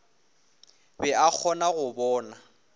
be a kgona go bona